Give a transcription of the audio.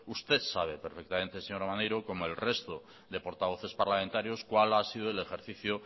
usted sabe perfectamente señor maneiro como el resto de portavoces parlamentarios cuál ha sido el ejercicio